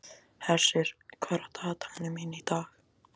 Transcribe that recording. Hersir, hvað er á dagatalinu mínu í dag?